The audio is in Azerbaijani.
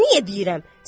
Oğluma niyə deyirəm?